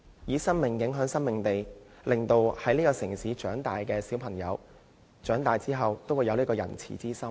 以生命影響生命，令這個城市成長的小朋友，長大後也有仁慈之心。